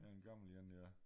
Ja en gammel én ja